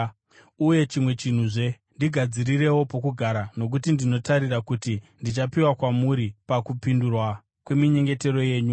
Uye chimwe chinhuzve: Ndigadzirirewo pokugara, nokuti ndinotarira kuti ndichapiwa kwamuri pakupindurwa kweminyengetero yenyu.